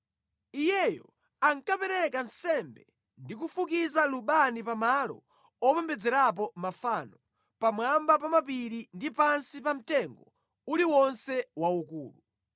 Iyeyo ankapereka nsembe ndi kufukiza lubani pa malo opembedzerapo mafano, pamwamba pa mapiri ndi pansi pa mtengo uliwonse waukulu.